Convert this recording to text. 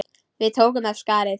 Við tókum af skarið.